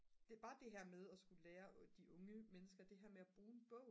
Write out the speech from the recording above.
det bare det her med at skulle lære de unge mennesker det her med at bruge en bog